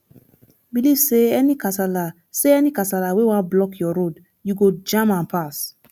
belive say any kasala say any kasala wey wan block yur road yu go jam am pass